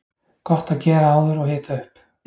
Gott að gera áður og hita upp.